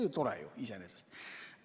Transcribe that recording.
See on ju ka iseenesest tore.